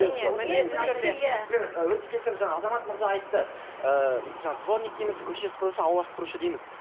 жаңа азамат мырза айтты ыыы жаңа дворник дейміз көше сыпырушы аула сыпырушы дейміз